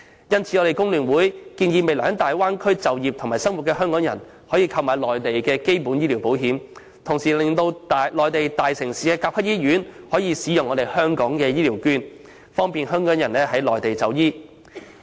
因此，工聯會建議讓未來在大灣區就業及生活的港人購買內地基本醫療保險，同時爭取內地大城市的甲級醫院接納香港的醫療券，方便港人在內地就醫。